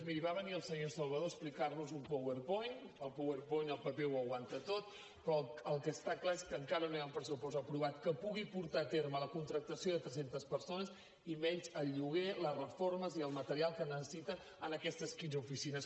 miri va venir el senyor salvador a explicar nos un powerpoint el powerpoint el paper ho aguanta tot però el que està clar és que encara no hi ha un pressupost aprovat que pugui portar a terme la contractació de tres centes persones i menys el lloguer les reformes i el material que es necessita en aquestes quinze oficines